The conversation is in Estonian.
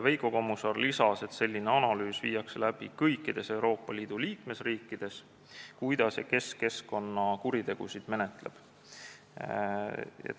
Veiko Kommusaar lisas, et selline analüüs, kuidas ja kes keskkonnakuritegusid menetleb, tehakse kõikides Euroopa Liidu liikmesriikides.